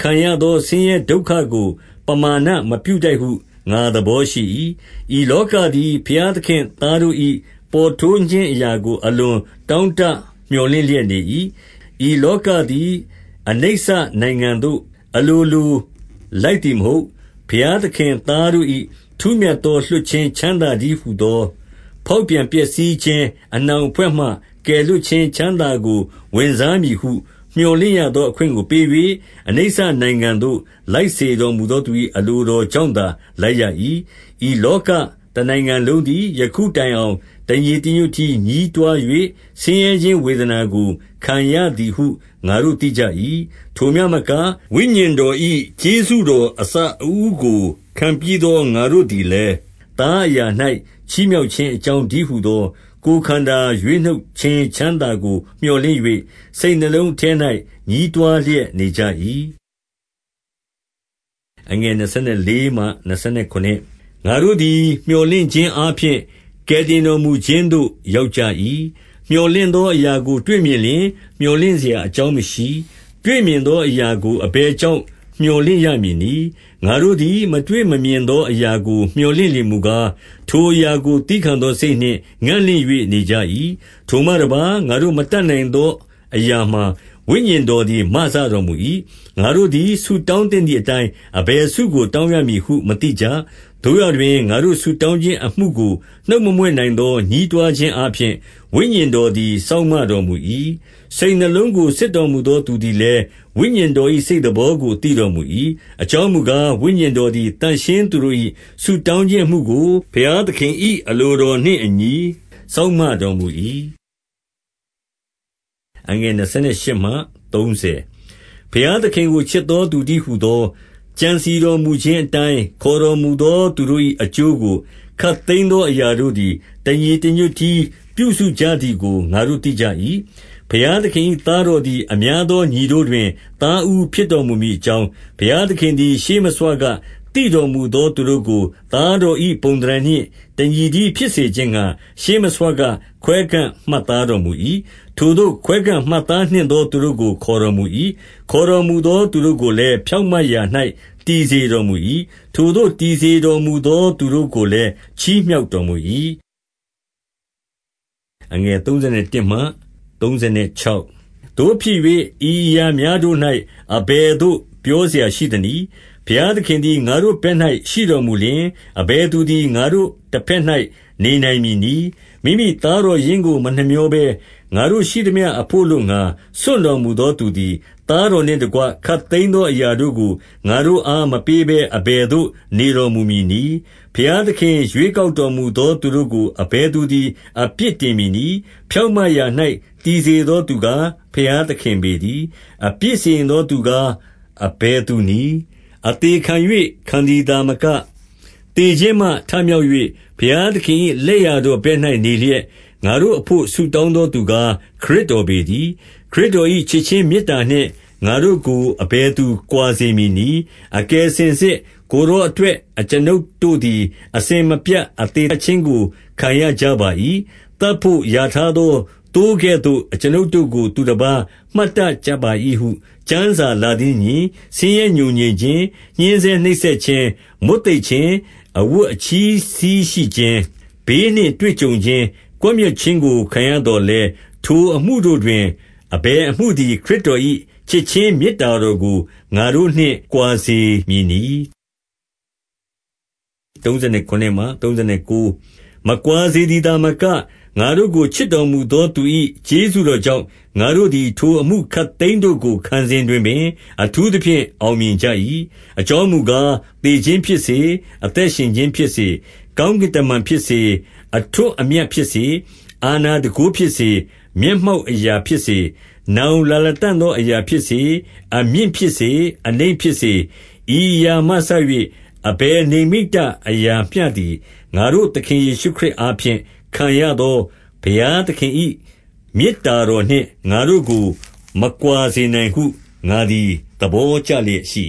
ခံရသော ဆင်းရဲဒုက္ခကို ပမာဏမပြုထိုက်ဟု ငါသဘောရှိ၏။ 19 ဤလောကသည် ဘုရားသခင့်သားတို့၏ ပေါ်ထွန်းခြင်းအရာကို အလွန်တောင့်တ မြော်လင့်လျက် နေ၏။ 20 ဤလောကသည် အနိစ္စနိုင်ငံသို့အလိုလို လိုက်သည်မဟုတ်။ 21 ဘုရားသခင်သားထူးမြတ်သော လွှတ်ခြင်း ချမ်းသာတည်းဟူသော ဖေါက်ပြန်ပျက်စီးခြင်း အနှောင် အဖွဲ့မှ ကယ်လွှတ်ခြင်း ချမ်းသာကို ဝင်စားမည်ဟု မြော်လင့်ရသော အခွင့်ကိုပေး၍အနိစ္စနိုင်ငံသို့ လိုက်စေ တော်မူသောသူ၏ အလိုတော်ကြောင့်သာ လိုက်ရ၏။ 22 ဤလောကတနိုင်ငံလုံးသည် ယခုတိုင်အောင် တညီတညွတ်တည်းညည်းတွား၍ ဆင်းရဲခြင်းဝေဒနာကို ခံရသည်ဟုငါတို့သိကြ၏။ 23 ထိုမျှမကဝိညာဉ်တော်၏ ကျေးဇူးတော် အစအဦးကို ခံပြီးသော ငါတို့သည်လည်း၊ သားအရာ၌ ချီးမြှောက်ခြင်းအကြောင်းတည်းဟူသော ကိုယ်ခန္ဓာ ရွေးနှုတ်ခြင်းချမ်းသာကို မြော်လင့်၍၊ စိတ်နှလုံးအထဲ၌ ညည်းတွားလျက်နေကြ၏။ 24 ငါတို့သည် မြော်လင့်ခြင်းအားဖြင့် ကယ်တင်တော်မူခြင်းသို့ ရောက်ကြ၏။ မြော်လင့်သောအရာကို တွေ့မြင်လျှင် မြော်လင့်စရာ အကြောင်းမရှိ။ တွေ့မြင်သော အရာကိုအဘယ်ကြောင့် မြော်လင့်ရမည်နည်း။ 25 ငါတို့သည် မတွေ့မမြင်သောအရာကို မြော်လင့်လျှင်မူကား၊ ထိုအရာကိုသည်းခံသောစိတ်နှင့် ငံ့လင့်၍ နေကြ၏။ 26 ထိုမှတပါး၊ ငါတို့မတတ်နိုင်သောအရာမှာ ဝိညာဉ်တော်သည် မစတော်မူ၏။ ငါတို့သည်ဆုတောင်း သင့်သည်အတိုင်း အဘယ်ဆုကို တောင်းရမည်ဟုမသိကြ။ သို့ရာတွင် ငါတို့ဆုတောင်းခြင်းအမှုကို နှုတ်မမြွက်နိုင်သော ညည်းတွားခြင်းအားဖြင့် ဝိညာဉ်တော်သည် စောင့်မတော်မူ၏။ 27 စိတ်နှလုံးကို စစ်တော်မူသောသူသည်လည်း ဝိညာဉ်တော်၏ စိတ်သဘောကိုသိတော်မူ၏။ အကြောင်း မူကား ဝိညာဉ်တော်သည် သန့်ရှင်းသူတို့၏ ဆုတောင်းခြင်းအမှုကို ဘုရားသခင်၏အလိုတော်နှင့် အညီစောင့်မ တော်မူ၏။ 28 ဘုရားသခင်ကို ချစ်သောသူတည်းဟူသော ကြံစည်တော်မူခြင်းအတိုင်း ခေါ်တော်မူသောသူတို့၏ အကျိုးကို ခပ်သိမ်းသောအရာတို့သည် တညီတညွတ်တည်း ပြုစုကြသည်ကို ငါတို့သိကြ၏။ 29 ဘုရားသခင်၏သားတော်သည် အများသော ညီတို့တွင် သားဦးဖြစ်တော်မူမည်အကြောင်း၊ ဘုရား သခင်သည် ရှေ့မဆွကသိတော်မူသော သူတို့ကို သားတော်၏ပုံသဏ္ဌာန်နှင့်တညီတည်း ဖြစ်စေခြင်းငှါ ရှေ့မဆွက ခွဲခန့်မှတ်သားတော်မူ၏။ 30 ထိုသို့ ခွဲခန့်မှတ်သားနှင့်သောသူတို့ကို ခေါ်တော်မူ၏။ ခေါ်တော်မူသော သူတို့ကိုလည်း ဖြောင့်မတ်ရာ၌ တည်စေတော်မူ၏။ ထိုသို့ တည်စေတော်မူသော သူတို့ကိုလည်း ချီးမြှောက်တော်မူ၏။ 31 သို့ဖြစ်၍ ဤအရာများတို့၌ အဘယ်သို့ ပြောစရာရှိသနည်း။ ဘုရားသခင်သည် ငါတို့ဘက်၌ ရှိတော်မူလျှင်၊ အဘယ်သူသည် ငါတို့တဘက်၌ နေနိုင်မည်နည်း။ 32 မိမိသားတော်ရင်းကို မနှမြောဘဲ၊ ငါတို့ရှိသမျှ အဘို့အလိုငှါ စွန့်တော်မူသောသူသည်၊ သားတော်နှင့် တကွ ခပ်သိမ်းသောအရာတို့ကို ငါတို့အားမပေးဘဲ အဘယ်သို့ နေတော်မူမည်နည်း။ 33 ဘုရားသခင်ရွေးကောက်တော်မူသော သူတို့ကို အဘယ်သူသည် အပြစ်တင်မည်နည်း။ ဖြောင့်မတ်ရာ ၌တည်စေသောသူကား ဘုရားသခင်ပေတည်း။ 34 အပြစ်စီရင်သောသူကား အဘယ်သူနည်း။ အသေခံ၍ခံသည်သာမက၊ သေခြင်းမှထမြောက်၍ ဘုရားသခင်၏ လက်ျာတော်ဘက်၌နေလျက်၊ ငါတို့ အဘို့ဆုတောင်းသောသူကား ခရစ်တော်ပေတည်း။ 35 ခရစ်တော်၏ချစ်ခြင်းမေတ္တာနှင့်ငါတို့ကို အဘယ်သူကွာစေမည်နည်း။ 36 အကယ်စင်စစ် ကိုယ်တော်အတွက် အကျွန်ုပ်တို့သည် အစဉ်မပြတ်အသေသတ်ခြင်းကို ခံရကြပါ၏။ သတ်ဘို့ရာထားသော သိုးကဲ့သို့ အကျွန်ုပ်တို့ကို သူတပါး မှတ်တတ်ကြပါ၏ဟု ကျမ်းစာလာသည်နှင့်အညီ၊ ဆင်းရဲ ငြိုငြင်ခြင်း၊ ညှဉ်းဆဲနှိပ်စက်ခြင်း၊ မွတ်သိပ်ခြင်း၊ အဝတ်အချည်းစည်းရှိခြင်း၊ ဘေးနှင့်တွေ့ကြုံခြင်း၊ ကွပ်မျက် ခြင်းခံရသော်လည်း၊ ထိုအမှုတို့တွင် အဘယ်အမှုသည် ခရစ်တော်၏ချစ်ခြင်းမေတ္တာတော်နှင့် ငါတို့ကို ကွာစေမည်နည်း။ 37 မကွာစေသည်သာမက၊ ငါတို့ကို ချစ်တော်မူသောသူ၏ ကျေးဇူးတော်ကြောင့်၊ ငါတို့သည် ထိုအမှု ခပ်သိမ်းတို့ကို ခံစဉ်တွင်ပင် အထူးသဖြင့် အောင်မြင်ကြ၏။ 38 အကြောင်းမူကား၊ သေခြင်းဖြစ်စေ၊ အသက်ရှင် ခြင်းဖြစ်စေ၊ ကောင်းကင်တမန်ဖြစ်စေ၊ အထွဋ်အမြတ် ဖြစ်စေ၊ အာဏာတန်ခိုးဖြစ်စေ၊ မျက်မှောက်အရာဖြစ်စေ၊ နောင်လာလတံ့သောအရာဖြစ်စေ၊ 39 အမြင့်ဖြစ်စေ၊ အနိမ့်ဖြစ်စေ၊ ဤအရာမှစ၍ အဘယ်နိမ္မိတအရာမျှသည်၊ ငါတို့သခင်ယေရှုခရစ် အားဖြင့် ခံရသောဘုရားသခင်၏ မေတ္တာတော်နှင့် ငါတို့ကို မကွာစေနိုင်ဟု ငါသည်သဘောကျလျက်ရှိ